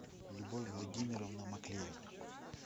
любовь владимировна маклеева